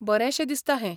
बरेंशें दिसता हें.